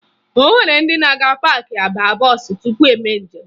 O nwere ndị na-aga paakị aba bọọsụ maka ime njem